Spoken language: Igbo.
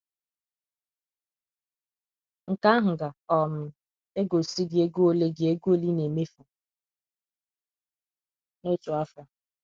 Nke ahụ ga um - egosi gị ego ole gị ego ole ị na - emefu n’otu afọ.